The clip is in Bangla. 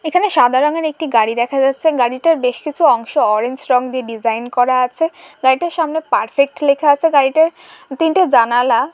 এখানে সাদা রঙের একটি গাড়ি দেখা যাচ্ছে। গাড়িটার বেশ কিছু অংশ অরেঞ্জ রং দিয়ে ডিজাইন করা আছে। লাইট এর সামনে পারফেক্ট লেখা আছে গাড়িটার । তিনটে জানালা--